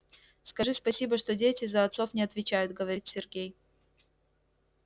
скажи спасибо что дети за отцов не отвечают говорит сергей